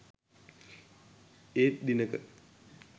ඒත් දිනක